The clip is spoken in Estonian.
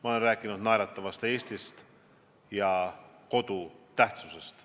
Ma olen rääkinud naeratavast Eestist ja kodu tähtsusest.